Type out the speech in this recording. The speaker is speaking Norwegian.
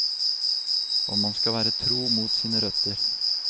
Og man skal være tro mot sine røtter.